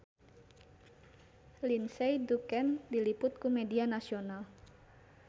Lindsay Ducan diliput ku media nasional